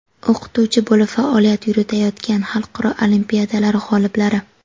o‘qituvchi bo‘lib faoliyat yuritayotgan xalqaro olimpiadalar g‘oliblari;.